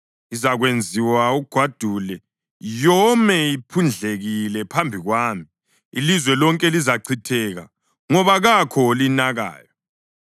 Izakwenziwa ugwadule, yome iphundlekile phambi kwami; ilizwe lonke lizachitheka ngoba kakho olinakayo.